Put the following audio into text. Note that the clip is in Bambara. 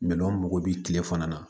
Minɛnw mago bɛ tile fana na